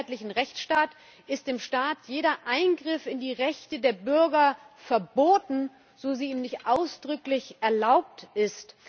In einem freiheitlichen Rechtsstaat ist dem Staat jeder Eingriff in die Rechte der Bürger verboten, so er ihm nicht ausdrücklich erlaubt ist.